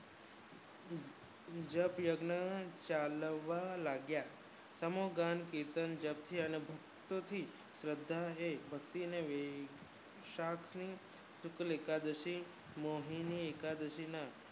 જપ યજ્ઞ ચાલવા લાગ્યા અને તેનું ચિતંન કરવાથી શ્રદ્ધા ઓ જે ભકિતી ને રહી સાપ થાય એક દાસી મોહીના એકાદશી ના